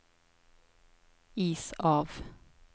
is av